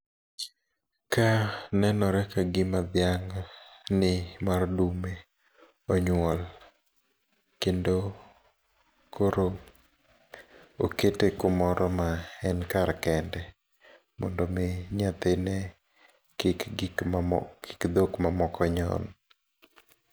Ka nenore kagim dhiang'ni mar dume onyuol. Kendo koro okete kumoro ma en kar kende mondo omi nyathine kik gik ma, kik dhok ma moko nyon.